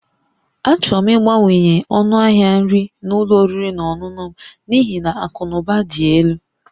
Achọrọ m ịbawanye ọnụ ahịa nri na ụlọ oriri na ọṅụṅụ m n'ihi na akụ na ụba dị elu